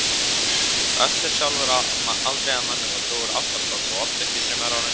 Össur sjálfur aldrei að manni og dó úr ástarsorg og ofdrykkju þremur árum síðar.